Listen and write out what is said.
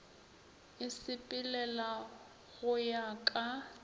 e sepelela go ya ka